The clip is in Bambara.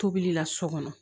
Tobili la so kɔnɔ